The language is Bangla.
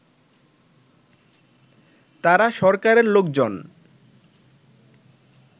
তারা সরকারের লোকজন